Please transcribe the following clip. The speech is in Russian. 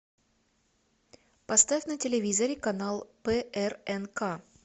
поставь на телевизоре канал прнк